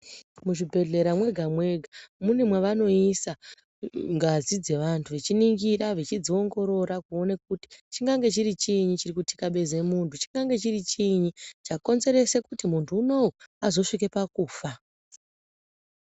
Muzvi bhedhlera mwega mwega mune mavanoisa ngazi dze vantu vechi ningira vechidzi ongorora kuone kuti chingange chiri chiinyi chiri ku tikabize muntu chikange chiri chiinyi chakonzerese kuti muntu unowu azo svike pakufa.